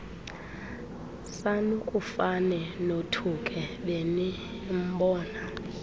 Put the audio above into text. sanukufane nothuke benimbona